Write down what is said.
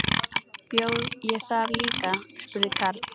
Bjó ég þar líka? spurði Karl.